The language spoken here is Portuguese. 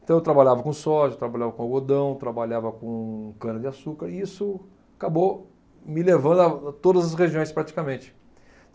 Então eu trabalhava com soja, trabalhava com algodão, trabalhava com cana-de-açúcar e isso acabou me levando a todas as regiões praticamente.